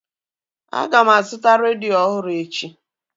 A ga m azụta redio ọhụrụ echi